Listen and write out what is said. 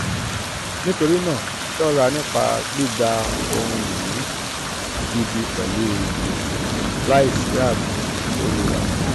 nitorinaa ṣọra nipa gbigba ohun-ini gidi pẹlu gbese laisi aabo olura kan.